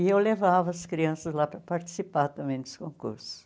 E eu levava as crianças lá para participar também dos concursos.